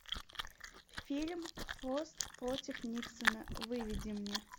фильм фрост против никсона выведи мне